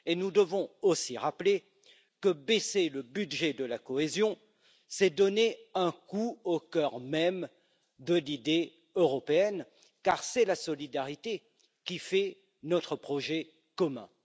Nous devons aussi rappeler que baisser le budget de la cohésion, c'est donner un coup au cœur même de l'idée européenne, car c'est la solidarité qui fait notre projet commun.